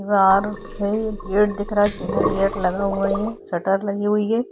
Gate दिख रहा है चैनल गेट लगा हुआ है शटर लगी हुई हैं।